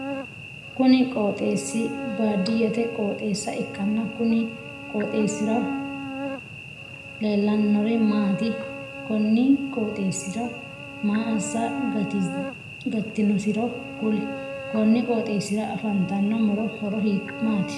Kunni qooxeesi baadiyete qooxeesa ikanna kunni qooxeesira leelanori maati? Konni qooxeesira maa assa gatinosiro kuli? Konni qooxeesira afantino muro horo maati?